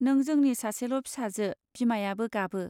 नों जोंनि सासेल फिसाजो बिमायाबो गाबो